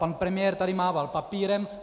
Pan premiér tady mával papírem.